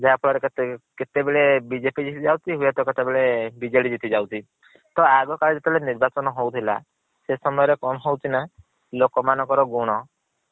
ଯାହାଫଳ ରେ କେତେ କେତେ ବେଳେ BJP ଜିତି ଯାଉଛି ହୁଏ ତ କେତବେଳେ BJD ଜିତିଯାଉଛି। ତ ଆଗ କାଳେ ଯେବେ ନିର୍ବାଚନ ହଉଥିଲା ସେ ସମୟରେ କଣ ହଉଛି ନା ଲୋକମାନଙ୍କର ଗୁଣ